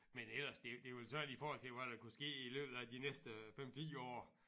Men ellers det det vel sådan i forhold til hvad der kunne ske i løbet af de næste 5 10 år